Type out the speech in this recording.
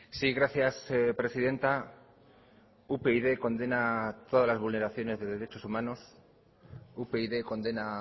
sí gracias presidenta upyd condena todas las vulneraciones de derechos humanos upyd condena